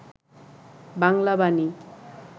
Bangla Bani